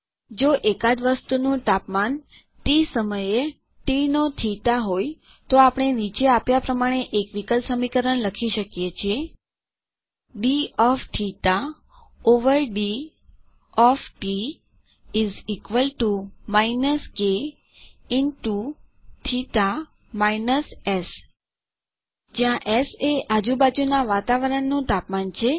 જો એકાદ વસ્તુનું તાપમાન ટી સમયે ટી નો થીટા હોય તો આપણે નીચે આપ્યાં પ્રમાણે એક વિકલ સમીકરણ લખી શકીએ છીએ D of theta over D of T is equal T O minus K into theta minus S જ્યાં એસ એ આજુબાજુનાં વાતાવરણનું તાપમાન છે